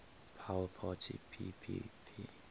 power parity ppp